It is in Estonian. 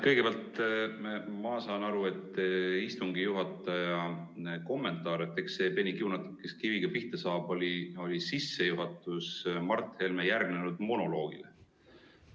Kõigepealt, ma saan aru, et istungi juhatajana kommentaar "Eks see peni kiunatab, kes kiviga pihta saab" oli sissejuhatus Mart Helme monoloogile.